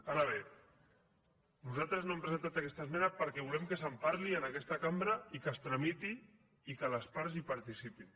ara bé nosaltres no hem presentat aquesta esmena perquè volem que se’n parli en aquesta cambra i que es tramiti i que les parts hi participin